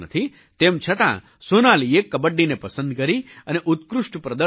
તેમ છતાં સોનાલીએ કબડ્ડીને પસંદ કરી અને ઉત્કૃષ્ટ પ્રદર્શન કર્યું